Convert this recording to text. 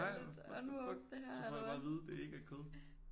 Nej what the fuck så får jeg bare at vide det ikke er kød